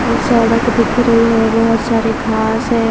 ये सड़क दिख रही है बहोत सारे घास है।